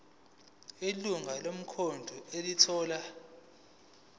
ilungu lomkhandlu elithola